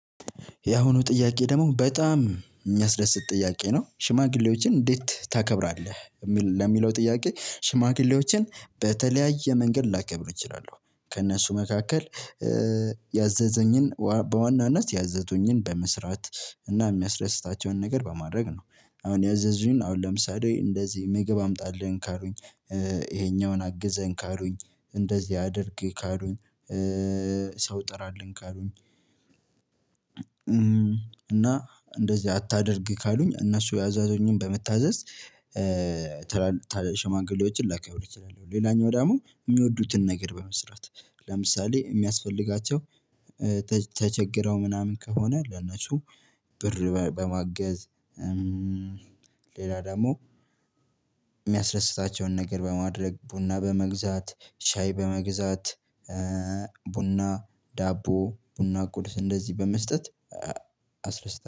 ያሁኑ ጥያቄ ደግሞ በጣም የሚያስደስት ጥያቄ ነው ሽማግሌዎችን እንዴት ታከብራለህ? ለሚለው ጥያቄ ሽማግሌዎችን በተለያየ መንገድ ላከብር እችላለሁ ከእነሱ መካከል ያዘዘኝን በዋናነት ያዘዙኝን በመስራት እና የሚያስደስታቸውን ነገር በማድረግ ነው። አሁን ያዘዙኝ አሁን ለምሳሌ እንደዚህ ምግብ አምጣልኝ ካሉኝ። ይሄኛውን አግዘኝ ካሉኝ እንደዚህ አድርግ ካሉኝ። ሰው ጥራልኝ ካሉኝ። እና እንደዚህ አታደርግ ካሉኝ እነሱ ያዘዙኝን በመታዘዝ ሸማግሌዎችን ላከብር እችላለው። ሌላኛው ደግሞ የሚወዱትን ነገር በመስራት ለምሳሌ የሚያስፈልጋቸው ተቸግረው ምናምን ከሆነ ለነሱ ብር በማገዝ። ሌላ ደግሞ የሚያስደስታቸውን ነገር በማድረግ ቡና በመግዛት ሻይ በመግዛት። ቡና ዳቦ ቡና ቁርስ እንደዚህ በመስጠት አስደስታለው